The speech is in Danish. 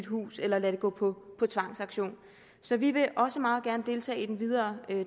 hus eller lade det gå på tvangsauktion så vi vil også meget gerne deltage i den videre